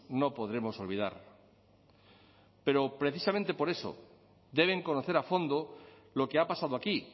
no podremos olvidar pero precisamente por eso deben conocer a fondo lo que ha pasado aquí